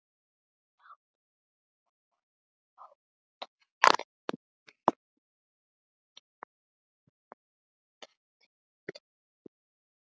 Náttúra, hvað er á dagatalinu í dag?